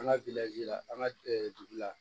An ka la an ka dugu la